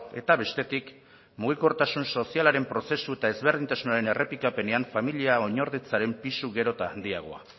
eta bestetik mugikortasun sozialaren prozesu eta ezberdintasunaren errepikapenean familia oinordetzaren pisu gero eta handiagoa